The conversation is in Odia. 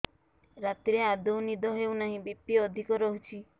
ରାତିରେ ଆଦୌ ନିଦ ହେଉ ନାହିଁ ବି.ପି ଅଧିକ ରହୁଛି